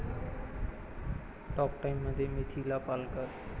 talk टाइममध्ये मिथिला पालकर